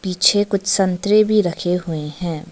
पीछे कुछ संतरे भी रखे हुए हैं।